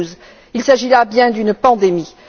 2012. Il s'agit bien là d'une pandémie.